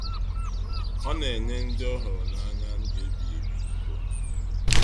Ọ na enye ndị ọhụrụ na anya ndụ ebighị ebi dika onyinye.